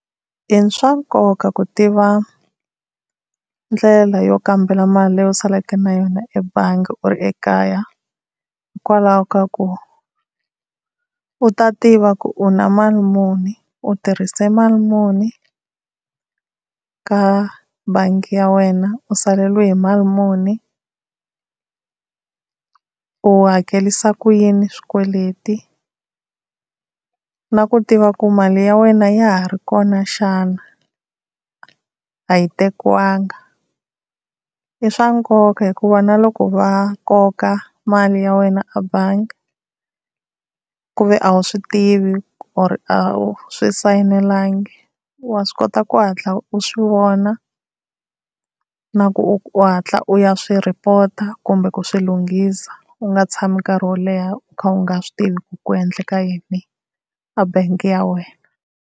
I swa nkoka ku tiva ndlela yo kambela mali leyi u saleke na yona ebangi u ri ekaya. Hikwalaho ka ku u ta tiva ku u na mali muni u tirhise mali muni ka bangi ya wena, u saleriwe hi mali muni u hakelisa ku yini swikweleti. Na ku tiva ku mali ya wena ya ha ri kona xana, a yi tekiwanga. I swa nkoka hikuva na loko va koka mali ya wena a bangi ku ve a wu swi tivi or a wu swi sayinelangi wa swi kota ku hatla u swi vona na ku u hatla u ya swi rhipota kumbe ku swi lunghisa. U nga tshami nkarhi wo leha u kha u nga swi tivi ku ri ku endleka yini a bangi ya wena.